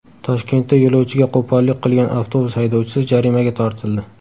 Toshkentda yo‘lovchiga qo‘pollik qilgan avtobus haydovchisi jarimaga tortildi.